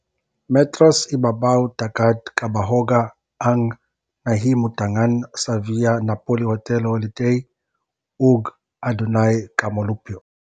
Metros ibabaw sa dagat kahaboga ang nahimutangan sa Via Napoli Hotel Holiday, ug adunay ka molupyo.